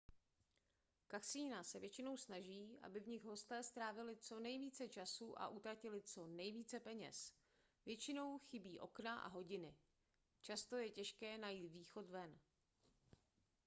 kasina se většinou snaží aby v nich hosté strávili co nejvíce času a utratili co nejvíce peněz většinou chybí okna a hodiny často je těžké najít východ ven